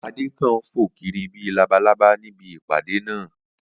Adé kàn ń fo kiri bí i labalábá níbi ìpàdé náà